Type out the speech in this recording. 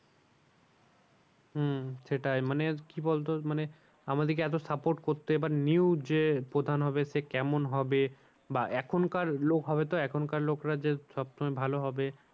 হম সেটাই মানে কি বলতো মানে আমাদেরকে এতো support করতে এবার new যে প্রধান হবে সে কেমন হবে? বা এখনকার লোক হবে তো এখন কার লোকরা যে সব সময় ভালো হবে